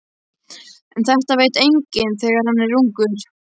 En þetta veit enginn þegar hann er ungur.